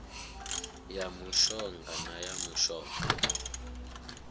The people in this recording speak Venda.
ya mushonga na ya mushonga